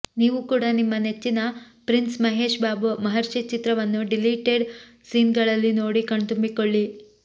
ನೀವು ಕೂಡ ನಿಮ್ಮ ನೆಚ್ಚಿನ ಪ್ರಿನ್ಸ್ ಮಹೇಶ್ ಬಾಬು ಮಹರ್ಷಿ ಚಿತ್ರವನ್ನು ಡಿಲೀಟೆಡ್ ಸೀನ್ ಗಳಲ್ಲಿ ನೋಡಿ ಕಣ್ತುಂಬಿಕೊಳ್ಳಿ